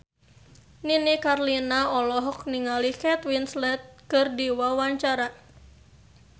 Nini Carlina olohok ningali Kate Winslet keur diwawancara